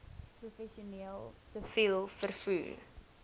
professioneel siviel vervoer